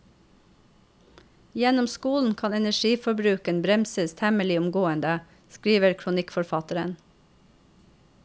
Gjennom skolen kan energiforbruken bremses temmelig omgående, skriver kronikkforfatteren.